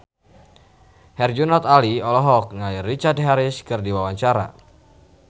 Herjunot Ali olohok ningali Richard Harris keur diwawancara